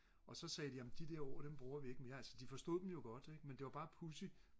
og så sagde de jamen de der ord dem bruger vi ikke mere altså de forstod dem godt ikke men det var bare pudsigt